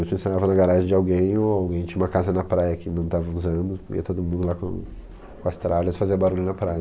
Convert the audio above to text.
Ou a gente ensaiava na garagem de alguém, ou alguém tinha uma casa na praia que não estava usando, ia todo mundo lá com com as tralhas fazer barulho na praia.